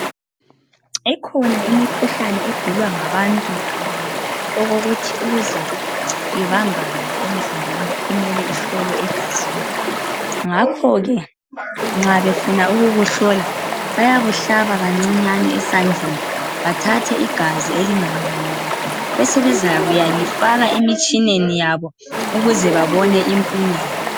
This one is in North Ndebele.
Ikhona imikhuhlane egulwa ngabantu okokuthi ukuze ibambakale emzimbeni kumele ihlolwe egazini .Ngakho ke nxa befuna ukukuhlola .Bayakuhlaba kancinyane esandleni .Bathathe igazi elinganganani besebezakuya lifaka emtshineni yabo ukuze babone impumelo.